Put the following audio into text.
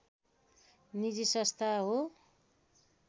निजी संस्था हो